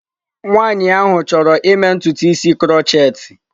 Nwaanyị ahụ chọrọ ịme ntutu isi krotchetị.